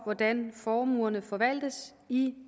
hvordan formuerne forvaltes i